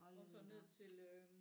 Hold da op